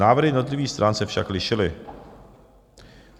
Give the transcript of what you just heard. Návrhy jednotlivých stran se však lišily.